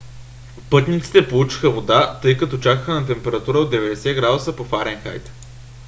пътниците получиха вода тъй като чакаха на температура от 90 градуса по фаренхайт